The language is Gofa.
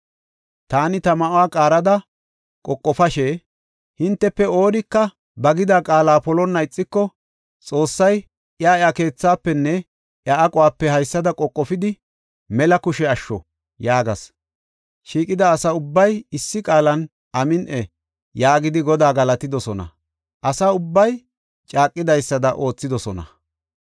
Taani ta ma7uwa qaarada qoqofashe, “Hintefe oonika ba gida qaala polonna ixiko, Xoossay iya, iya keethaafenne iya aquwape haysada qoqofidi mela kushe asho” yaagas. Shiiqida asa ubbay issi qaalan, “Amin7i” yaagidi Godaa galatidosona. Asa ubbay caaqidaysada oothidosona.